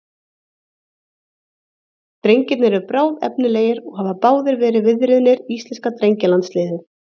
Drengirnir eru bráðefnilegir og hafa báðir verið viðriðnir íslenska drengjalandsliðið.